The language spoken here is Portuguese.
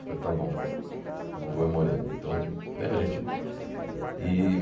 Eu falei, tá bom, vó, meu vô é moreno. Então né a gente e